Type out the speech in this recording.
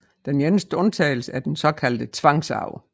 Den eneste undtagelse er den såkaldte tvangsarv